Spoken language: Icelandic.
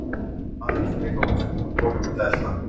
Hann er maður sem fólk vill elta.